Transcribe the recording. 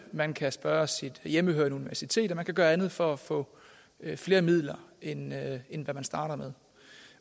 man kan spørge sit hjemmehørende universitet og man kan gøre andet for at få flere midler end end hvad man starter med